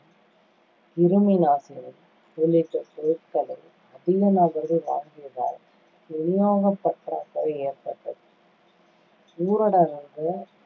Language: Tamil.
கிருமிநாசினி உள்ளிட்ட பொருட்களை அதிக நபர்கள் வாங்கியதால் விநியோகப் பற்றாக்குறை ஏற்பட்டது. ஊரடங்கால்